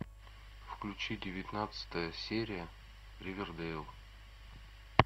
включи девятнадцатая серия ривердейл